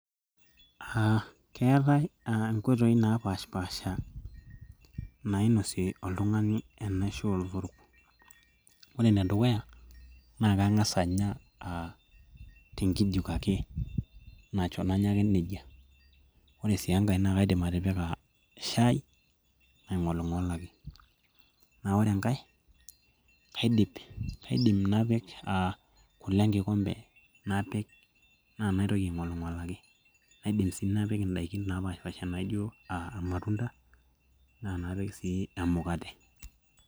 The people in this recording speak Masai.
uh, keetae uh inkooitoi napashipaasha nainosie oltung'ani enaisho olotorok ore enedukuya naa keng'as anya uh tenkijiko ake nanya ake nejia ore sii enkae naa kaidim atipika shai naing'oling'olaki naa wore enkae kaidip, kaidim napik uh kule enkikombe napik naa naitoki aing'oling'olaki naidim sii napik indaiki napaashipasha uh irmatunda naa napik sii emukate.